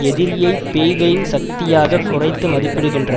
எதிரியை பேய்களின் சக்தியாக குறைத்து மதிப்பிடுகின்ற